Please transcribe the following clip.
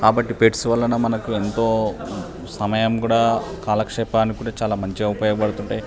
కాబట్టి పెట్స్ వల్ల మనకు ఎంతో సమయం కూడా కాలక్షేపానికి కూడా చలా మంచిగా ఉపయోగ పడుతుంటాయి.